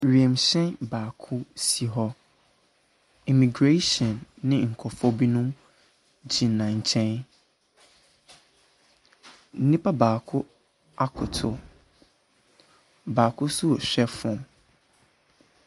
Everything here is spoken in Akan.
Wiemhyɛn baako si hɔ. Immigration ne nkorɔfo bi gyina nkyɛn. Nipa baako akoto, baako nso ɛrehwɛ phone.